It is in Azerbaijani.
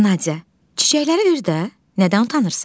Nadya, çiçəkləri ver də, nədən utanırsan?